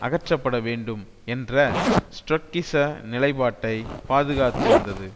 அகற்றப்பட வேண்டும் என்ற ட்ரொட்ஸ்கிச நிலைப்பாட்டை பாதுகாத்து வந்தது